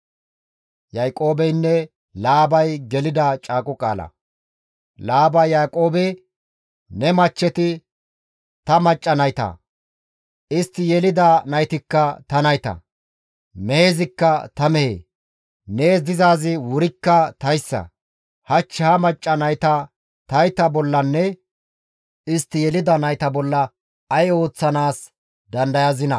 Laabay Yaaqoobe, «Ne machcheti ta macca nayta; istti yelida naytikka ta nayta; mehezikka ta mehe; nees dizaazi wurikka tayssa; hach ha macca nayta tayta bollanne istti yelida nayta bolla ay ooththanaas dandayazinaa?